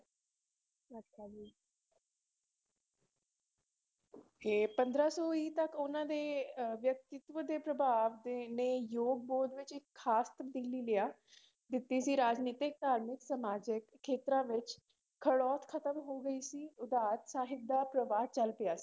ਤੇ ਪੰਦਰਾਂ ਸੌ ਹੀ ਤੱਕ ਉਹਨਾਂ ਦੇ ਅਹ ਵਿਅਕਤਿਤਵ ਦੇ ਪੑਭਾਵ ਦੇ ਨੇ ਯੁੱਗ ਬੋਧ ਵਿੱਚ ਇੱਕ ਖਾਸ ਤਬਦੀਲੀ ਲਿਆ ਦਿੱਤੀ ਸੀ ਰਾਜਨੀਤਿਕ, ਧਾਰਮਿਕ, ਸਮਾਜਿਕ ਖੇਤਰਾਂ ਵਿੱਚ ਖੜੋਤ ਖਤਮ ਹੋ ਗਈ ਸੀ ਉਦਾਤ ਸਾਹਿਤ ਦਾ ਪ੍ਰਵਾਹ ਚੱਲ ਪਿਆ।